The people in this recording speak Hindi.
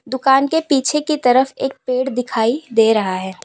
दुकान के पीछे की तरफ एक पेड़ दिखाई दे रहा है।